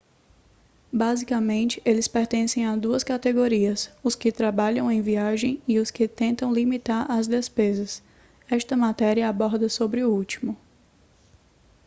basicamente eles pertencem a duas categorias os que trabalham em viagem e os que tentam limitar as despesas esta matéria aborda sobre o último